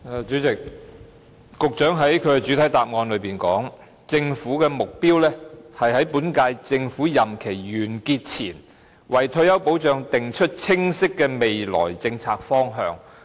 主席，局長在主體答覆中說，"政府的目標是在本屆政府任期完結前，為退休保障訂出清晰的未來政策方向。